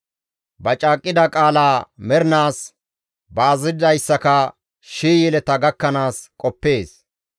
Ba caaqqida qaalaa mernaas, ba azazidayssaka shii yeleta gakkanaas qoppees.